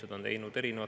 Head Riigikogu liikmed!